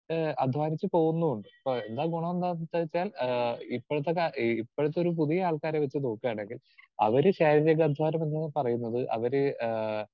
Speaker 2 ആഹ് അധ്വാനിച്ച് പോകുന്നുമുണ്ട്. അപ്പൊ എന്താ ഗുണമെന്താന്ന് വെച്ചാൽ ആഹ് ഇപ്പഴത്തെ കാ ഈ ഇപ്പോഴത്തെ ഒരു പുതിയ ആൾക്കാരെ വച്ച് നോക്കുകയാണെങ്കിൽ അവര് ശാരീരിക അധ്വാനം എന്ന് പറയുന്നത് അവര് ആഹ്